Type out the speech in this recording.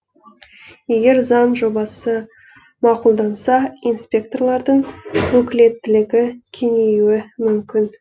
егер заң жобасы мақұлданса инспекторлардың өкілеттілігі кеңеюі мүмкін